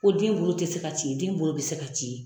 Ko den bolo tɛ se ka ci den bolo bɛ se ka ci.